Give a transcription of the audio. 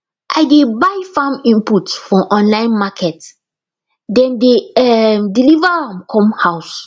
i dey buy farm input for online market dem dey um deliver am come house